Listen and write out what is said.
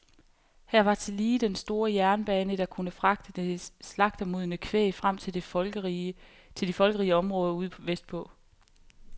Her var tillige den store jernbane, der kunne fragte det slagtemodne kvæg frem til de folkerige områder ude vestpå.